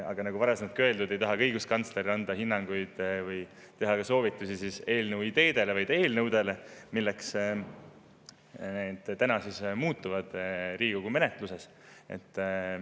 Aga nagu varasemaltki öeldud, õiguskantsler ei taha anda hinnanguid või soovitusi eelnõu ideede, vaid eelnõude kohta, milleks muutuvad Riigikogu menetluses.